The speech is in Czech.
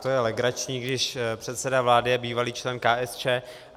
To je legrační, když předseda vlády je bývalý člen KSČ.